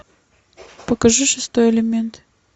покажи шестой элемент